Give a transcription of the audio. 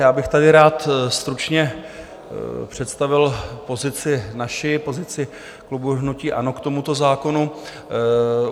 Já bych tady rád stručně představil pozici naši, pozici klubu hnutí ANO k tomuto zákonu.